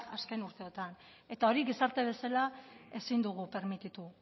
azken urteetan eta hori gizarte bezala ezin dugu permititu